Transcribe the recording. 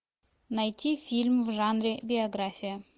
найти фильм в жанре биография